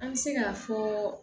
An bɛ se k'a fɔɔɔ